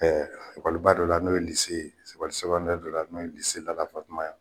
Ɛɛ ekɔliba dɔ la n'ose ye ye dɔ la n'o ye Lala Fatuma ye